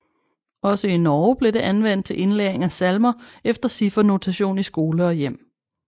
Også i Norge blev det anvendt til indlæring af salmer efter ciffernotation i skole og hjem